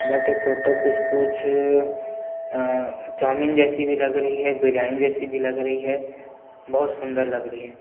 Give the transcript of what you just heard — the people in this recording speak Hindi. बट ये फोटो कुछ - कुछ अ चाउमीन जैसी भी लग रही है बिरयानी जैसी भी लग रही है बहुत सुन्दर लग रही है।